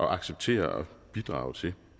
acceptere og bidrage til